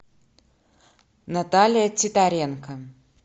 наталья титаренко